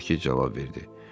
Markiz cavab verdi.